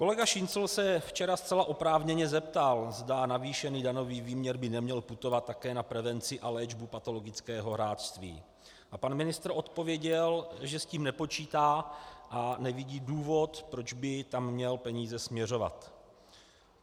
Kolega Šincl se včera zcela oprávněně zeptal, zda navýšený daňový výměr by neměl putovat také na prevenci a léčbu patologického hráčství, a pan ministr odpověděl, že s tím nepočítá a nevidí důvod, proč by tam měl peníze směřovat.